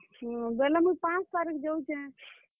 ବେଲେ ମୁଇଁ ପାଞ୍ଚ ତାରିଖ ଯଉଛେଁ।